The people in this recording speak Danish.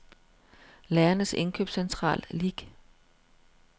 Lærernes Indkøbscentral Lic